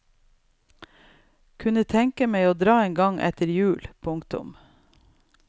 Kunne tenke meg å dra en gang etter jul. punktum